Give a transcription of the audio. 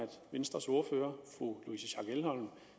venstres ordfører fru louise schack elholm